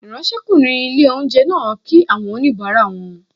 Ìráńṣẹ́kùnrin ilé-oúnjẹ náà kí àwọn oníbàárà wọn